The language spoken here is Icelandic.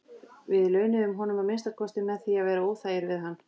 Við launuðum honum að minnsta kosti með því að vera óþægir við hann.